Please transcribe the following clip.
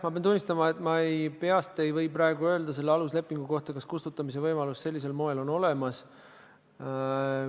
Ma pean tunnistama, et ma peast ei või praegu öelda selle aluslepingu kohta, kas kustutamise võimalus sellisel moel on olemas.